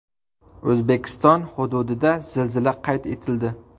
O‘zbekiston hududida zilzila qayd etildi.